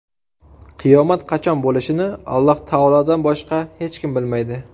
Qiyomat qachon bo‘lishini Alloh taolodan boshqa hech kim bilmaydi.